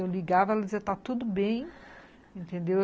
Eu ligava, ela dizia, está tudo bem, entendeu?